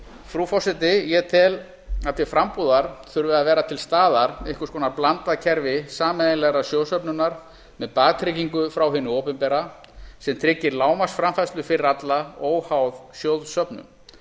frú forseti ég tel að til frambúðar þurfi að vera til staðar einhvers konar blandað kerfi sameiginlegrar sjóðsöfnunar með baktryggingu frá hinu opinbera sem tryggir lágmarksframfærslu fyrir alla óháð sjóðsöfnun